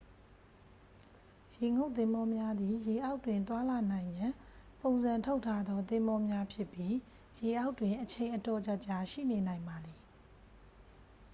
ရေငုပ်သင်္ဘောများသည် ရေအောက်တွင်သွားလာနိုင်ရန် ပုံစံထုတ်ထားသော သင်္ဘောများဖြစ်ပြီး ရေအောက်တွင် အချိန်အတော်ကြာကြာ ရှိနေနိုင်ပါသည်